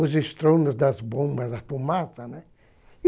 os estrondos das bombas, a fumaça, né?